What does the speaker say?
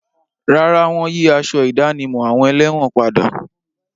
Rárá, wọ́n yí aṣọ ìdánimọ̀ àwọn ẹlẹ́wọ̀n padà.